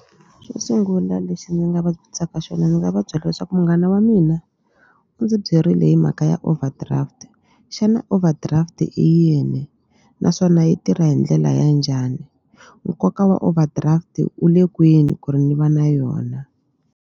Xo sungula lexi ni nga va xona ndzi nga va byela leswaku munghana wa mina u ndzi byerile hi mhaka ya overdraft xana overdraft i yini naswona yi tirha hi ndlela ya njhani nkoka wa overdraft u le kwini ku ri ni va na yona.